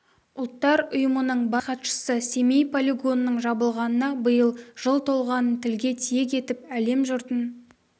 ұлттар ұйымының бас хатшысы семей полигонының жабылғанына биыл жыл толғанын тілге тиек етіп әлем жұртын